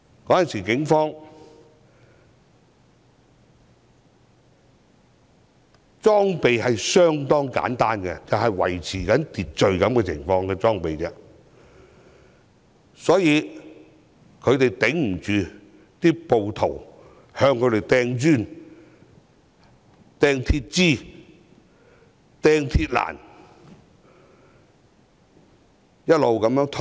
警方當時的裝備相當簡單，只有用來維持秩序的裝備，所以抵擋不住暴徒向他們投擲磚頭、鐵枝和鐵欄，只好一直後退。